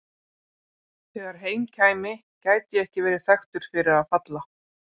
Þegar heim kæmi gæti ég ekki verið þekktur fyrir að falla.